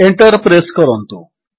enter press କରନ୍ତୁ